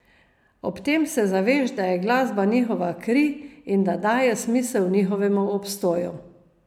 Ob tem se zaveš, da je glasba njihova kri in da daje smisel njihovemu obstoju.